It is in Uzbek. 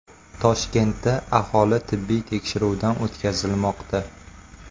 Toshkentda aholi tibbiy tekshiruvdan o‘tkazilmoqda.